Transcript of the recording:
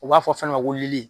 U b'a fɔ fɛn dɔ ma ko lili.